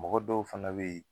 Mɔgɔ dɔw fana be yen